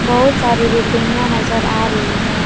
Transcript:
बहुत सारी बिल्डिंगिया नजर आ रही है।